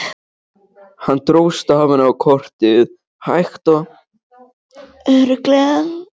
Hann dró stafina á kortið hægt og örugglega.